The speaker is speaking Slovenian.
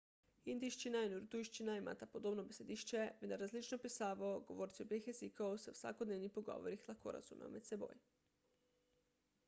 hindijščina in urdujščina imata podobno besedišče vendar različno pisavo govorci obeh jezikov se v vsakodnevnih pogovorih lahko razumejo med seboj